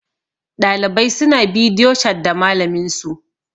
ɗalibai suna bidiyo chat da malaminsu